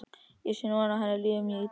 Ég sé núna að henni líður mjög illa.